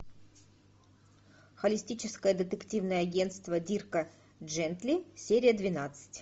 холистическое детективное агентство дирка джентли серия двенадцать